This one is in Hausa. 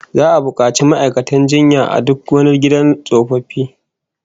Za'a bukaci ma'aikatan jinya a duk wani gidan tsofaffi